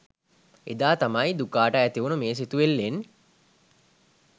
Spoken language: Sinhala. එදා තමයි දුකාට ඇතිවුනු මේ සිතුවිල්ලෙන්